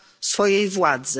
swojej władzy.